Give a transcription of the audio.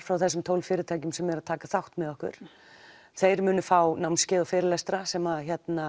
frá þessum tólf fyrirtækjum sem eru að taka þátt með okkur og þeir munu fá námskeið og fyrirlestra sem